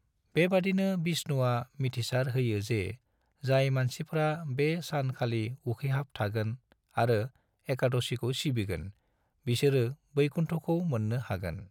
बेबादिनो विष्णुआ मिथिसार होयो जे जाय मानसिफ्रा बे सान खालि उखैहाब थागोन आरो एकादशीखौ सिबिगोन, बिसोरो वैकुंठखौ मोननो हागोन।